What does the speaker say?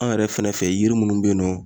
An yɛrɛ fɛnɛ fɛ yiri munnu be yen nɔ